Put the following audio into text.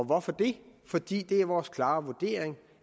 hvorfor det fordi det er vores klare vurdering